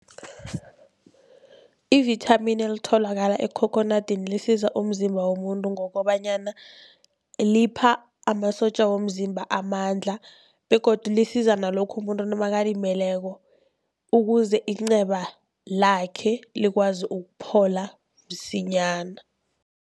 Ivithamini elitholakala ekhokhonadini lisiza umzimba womuntu ngokobanyana lipha amasotja womzimba amandla begodu lisiza nalokha umuntu nakalimeleko, ukuze inceba lakhe likwazi ukuphola msinyana.